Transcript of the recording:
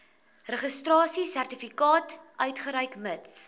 registrasiesertifikaat uitreik mits